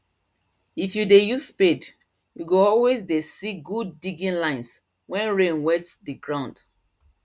if you dey use spade you go always dey see good digging lines wen rain wet the ground